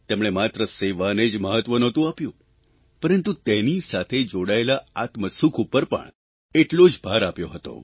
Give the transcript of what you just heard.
તેમણે માત્ર સેવાને જ મહત્વ નહોતું આપ્યું પરંતુ તેની સાથે જોડાયેલા આત્મસુખ ઉપર પણ એટલો જ ભાર આપ્યો હતો